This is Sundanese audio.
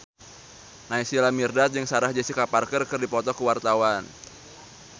Naysila Mirdad jeung Sarah Jessica Parker keur dipoto ku wartawan